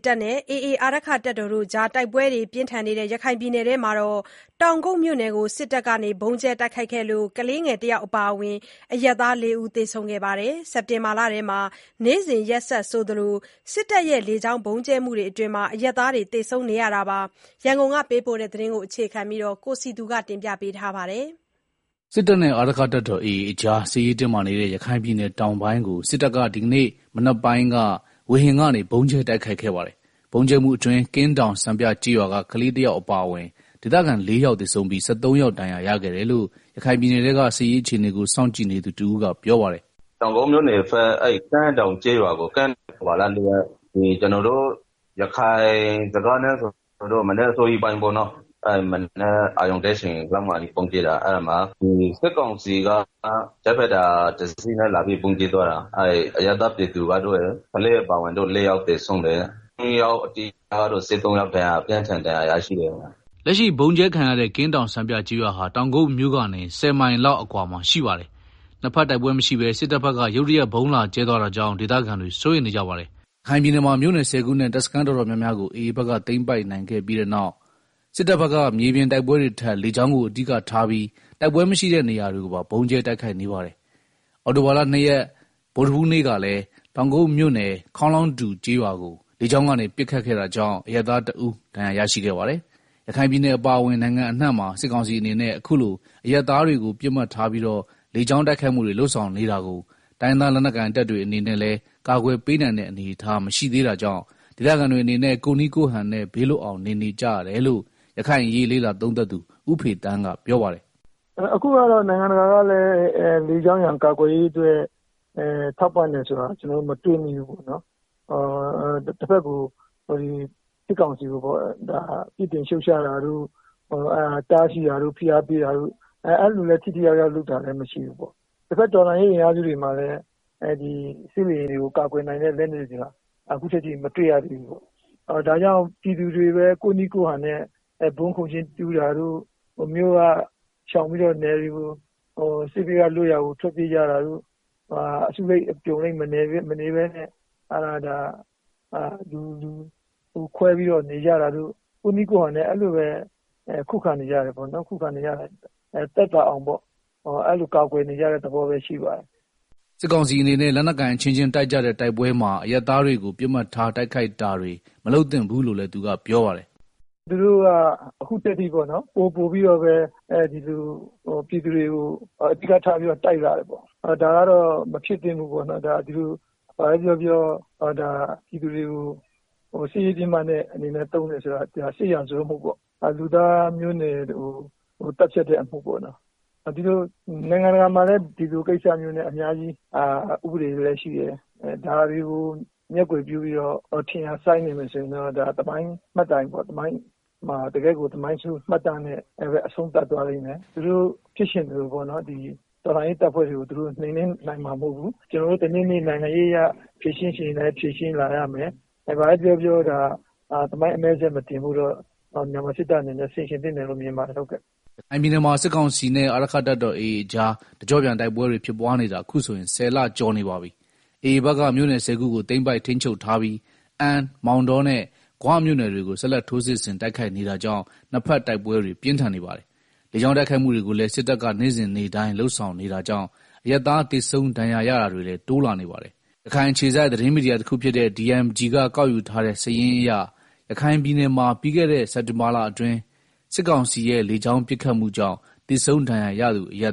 တပ်နဲ့ AA အာရက္ခတပ်တော်ကြား တိုက်ပွဲတွေဖြစ်နေတဲ့ ရခိုင်ပြည်နယ်ထဲက တောင်ကုတ်မြို့နယ်ကို စစ်တပ်က ဗုံးကြဲခဲ့လို့ ကလေးငယ် ၁ ယောက် အပါအဝင် အရပ်သား ၄ ယောက် သေဆုံးခဲ့ပါတယ်။ စက်တင်ဘာလထဲက နေ့စဉ် ရက်ဆက်ဆိုသလို စစ်တပ်ရဲ့ လေကြောင်း ဗုံးကြဲမှုတွေမှာ အရပ်သားတွေ သေဆုံးနေတဲ့ အခြေအနေအကြောင်း ရန်ကုန်က ပေးပို့တဲ့သတင်းကို အခြေခံပြီး တင်ပြထားပါတယ်။ စစ်တပ်နဲ့ အာရက္ခတပ်တော် AA ကြား စစ်ရေးတင်းမာနေတဲ့ ရခိုင်ပြည်နယ်တောင်ပိုင်းကို စစ်တပ်က ဒီနေ့ မနက်ပိုင်းက ဝေဟင်ကနေ ဗုံးကြဲတိုက်ခိုက်ခဲ့ပါတယ်။ ဗုံးကြဲမှုအတွင်း ကင်းတောင်စံပြကျေးရွာက ကလေး ၁ ယောက်အပါအဝင် ဒေသခံ ၄ ယောက် သေဆုံးပြီး ၁၃ ယောက် ဒဏ်ရာရခဲ့တယ်လို့ ရခိုင်ပြည်နယ်ထဲက စစ်ရေးအခြေအနေကို စောင့်ကြည့်နေသူတဦး ကပြောပါတယ်။ “ တောင်ကုတ်မြို့နယ် ကင်းတောင်ကျေးရွာကို နိုဝင်ဘာလ ၄ ရက် ကျနော်တို့ ရခိုင်စကား နဲ့ဆိုရင်တော့ မနက်အစောကြီးပေါ့နော်၊ အာရုံတက်ချိန်မှာ စစ်ကောင်စီက ဂျက်ဖိုက်တာ တစီးနဲ့လာပြီးတော့ ဗုံးကြဲသွားတာ။ အဲဒီမှာ အရပ်သား ကလေးတဦးအပါအဝင် ၄ ဦးသေ ဆုံးတယ်။၁၃ ယောက်ကတော့ ဒဏ်ရာအပြင်းအထန်ရရှိသွားတယ်။” လက်ရှိဗုံးကြဲခံရတဲ့ ကင်းတောင်စံပြကျေးရွာဟာ တောင်ကုတ်မြို့ကနေ မိုင် ၁၀ လောက် အကွာမှာ ရှိတည်ပါတယ်။ ၂ ဘက်တိုက်ပွဲမရှိဘဲ စစ်တပ်ဘက်က ရုတ်တရက် ဗုံးလာကြဲသွားတာကြောင့် ဒေသခံတွေ စိုးရီမ်နေကြပါတယ်။ ရခိုင်ပြည်နယ်မှာ မြို့နယ် ၁ဝ ခုနဲ့ တပ်စခန်းတော်တော်များများကို AA ဘက်က သိမ်း ပိုက်နိုင်ခဲ့ပြီးနောက်မှာ စစ်တပ်ဘက်က မြေပြင်တိုက်ပွဲတွေထက် လေကြောင်းကိုအဓိကထားပြီး တိုက်ပွဲမရှိတဲ့ နေရာတွေကိုပါ ဗုံးကြဲတိုက်ခိုက်နေပါတယ်။ အောက်တိုဘာလ ၂ ရက် ဗုဒ္ဓဟူးနေ့ကလည်း တောင်ကုတ်မြို့နယ် ခေါင်းလောင်းတူကျေးရွာကို လေကြောင်းကနေ ပစ်ခတ်ခဲ့တာကြောင့် အရပ်သားတဦး ဒဏ်ရာရရှိခဲ့ပါတယ်။ ရခိုင်ပြည်နယ်အပါအဝင် နိုင်ငံအနှံမှာ စစ်ကောင်စီအနေနဲ့ အခုလို အရပ်သားတွေကို ပစ်မှတ်ထားပြီးတော့ လေကြောင်း တိုက်ခိုက်မှုတွေ လုပ်ဆောင်နေတာကို တိုင်းရင်းသား လက်နက်ကိုင်တပ်တွေအနေနဲ့ လည်းကာကွယ်ပေးနိုင်တဲ့ အနေအထားမရှိသေးတာကြာင့် ဒေသခံတွေအနေနဲ့ ကိုယ့်နည်းကိုယ့်ဟန်နဲ့ ဘေးလွတ်အောင် နေနေကြရတယ်လို့ ရခိုင်အရေးလေ့လာသုံးသပ်သူ ဦးဖေသန်းကပြောပါတယ်။ “ နိုင်ငံတကာကလည်း လေကြောင်းရန်ကာကွယ်ရေးအတွက် ထောက်ပံ့တာမတွေ့ရဘူး၊ စစ်ကောင်စီကို ပြစ်တင်ရှုံ့ချတာတို့ တားစီးတာတို့ ဖိအားပေးတာတို့ အဲလို ထိထိရောက် ရောက်လုပ်တာလည်းမရှိဘူး၊ တဘက် တော်လှန်ရေး တပ်ဖွဲ့တွေမှာလည်း စစ်လေယာဉ်တွေ ကို ကာကွယ်နိုင်တဲ့ လက်နက်တွေ အခုထက်ထိ မတွေ့ရသေးဘူး၊ ဒါကြောင့် ပြည်သူတွေပဲ ကိုယ့်နည်း ကိုယ့်ဟန်နဲ့ ဗုံးခိုကျင်းတူးတာတို့ စေးဘေးလွတ်ရာကို ထွက်ပြေးတာတို့ အစုလိုက် အပြုံနဲ့ မနေပဲ လူစုခွွဲပြီးတော့ နေကြတာတို့ ကိုယ့်နည်းကိုယ့်ဟန်နဲ့ အဲလိုပဲ ခုခံနေရ တယ်။ သက်သာအောင် အဲလို ကာကွယ်နေကြတဲ့ သဘောပဲ ရှိပါတယ်။” စစ်ကောင်စီအနေနဲ့ လက်နက်ကိုင်အချင်းချင်းတိုက်ကြတဲ့ တိုက်ပွဲမှာ အရပ်သားတွေကို ပစ်မှတ်ထားတိုက်ခိုက်တာတွေ မလုပ်သင့်ဘူးလို့လည်း သူကပြောပါတယ်။ “ သူတို့က အခုထိ ပိုပိုပြီးတော့ ဒီလို ပြည်သူတွေကို အဓိကထားပြီးတော့ တိုက်လာတယ်ပေါ့၊ ဒါကတော့ မဖြစ်သင့်ဘူး၊ ပြည်သူတွေကို စစ်ရေးပစ်မှတ်အနေနဲ့ သုံးတယ်ဆိုတာ စစ်ရာဇဝတ်မှုပေါ့၊ လူသားမျိုးနွယ်ကို သတ်ဖြတ်တဲ့ အမှုပေါ့နော်၊ နို်င်ငံတကာမှာလည်း ဒီလိုကိစ္စတွေအတွက် ဥပဒေတွေလည်းရှိတယ်၊ ဒါတွေကို မျက်ကွယ်ပြုပြီးတော့ ထင်ရာစိုင်းနေမယ်ဆိုရင်တော့ တကယ့်ကို သမိုင်းဆိုးမှတ်တမ်းနဲ့ အဆုံးသတ်သွားမယ်။ သူတို့ဖြစ်ချင်သလို တော်လှန်ရေးတပ်ဖွဲ့တွေကို နိုင်နှင်းနိုင် မှာမဟုတ်ဘူး။ ကျနော်တို့တနေ့နေ့ နို်င်ငံရေးအရ ဖြေရှင်းချင်ရင်လည်း ဖြေရှင်းလာရမယ်။ ဘာပဲပြောပြောတာ သမိုင်းအမဲစက်မတင်ဖို့တော့ မြန်မာစစ်တပ်အနေနဲ့ ဆင်ခြင်သင့်တယ်လို့ မြင်ပါတယ်။ ” ရခိုင်ပြည်နယ်မှာ စစ်ကောင်စီနဲ့ အာရက္ခတပ်တော် AA ကြား တကျော့ပြန်တိုက်ပွဲတွေ ဖြစ်ပွားနေတာအခုဆိုရင် ၁ဝ လကျော်နေပါပြီ။ AA ဘက်က မြို့နယ် ၁၀ ခုကို သိမ်းပိုက် ထိန်းချုပ်ထားပြီး အမ်း မောင်တောနဲ့ ဂွမြို့နယ်တွေကို ဆက်လက် ထိုးစစ်ဆင်တိုက်ခိုက်နေတာကြောင့် ၂ ဘက် တိုက်ပွဲတွေ ပြင်းထန်နေပါတယ်။ လေကြောင်း တိုက်ခိုက်မှုတွေကိုလည်း စစ်တပ်က နေ့စဉ်နေ့တိုင်းလုပ်ဆောင်နေတာကြောင့် အရပ်သား သေဆုံးဒဏ်ရာရတာတွေလည်း တိုးလာနေပါတယ်။ ရခိုင်အခြေစိုက်သတင်းမီဒီယာတခုဖြစ်တဲ့ DMG က ကောက်ယူထားတဲ့ စာရင်းအရ ရခိုင်ပြည်နယ်မှာ ပြီးခဲ့တဲ့ စက်တင်ဘာလ အတွင်း စစ်ကောင်စီရဲ့ လေကြောင်း ပစ်ခတ်မှုကြောင့် သေဆုံးဒဏ်ရာရသူအရ